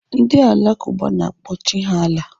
Ndị Alakụba na-akpọ Chi ha Allah.